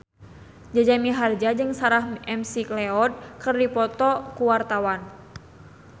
Jaja Mihardja jeung Sarah McLeod keur dipoto ku wartawan